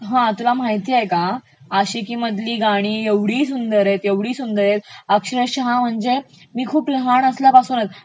हा तुला माहितेय का, आशिकी मधली गाणी एवढी सुंदर आहेत, एवढी सुंदर आहेत अक्षरशः म्हणजे खूप लहान असल्यापासून